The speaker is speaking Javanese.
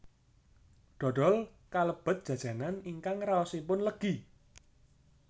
Dhodhol kalebet jajanan ingkang raosipun legi